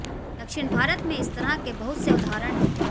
दक्षिण भारत में इस तरह के बहुत से उदाहरण हैं